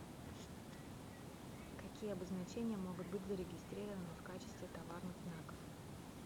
какие обозначения могут быть зарегистрированы в качестве товарных знаков